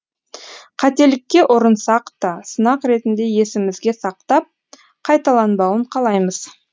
қателікке ұрынсақ та сынақ ретінде есімізге сақтап қайталанбауын қалаймыз